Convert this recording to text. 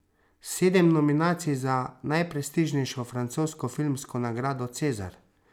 Sedem nominacij za najprestižnejšo francosko filmsko nagrado cezar.